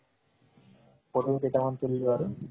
photoও কেইটামান তুলিলো আৰু